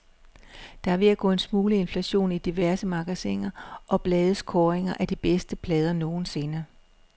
Der er ved at gå en smule inflation i diverse magasiner og blades kåringer af de bedste plader nogensinde.